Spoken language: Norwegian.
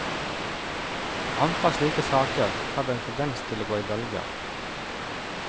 Antall slike saker har vel en tendens til å gå i bølger.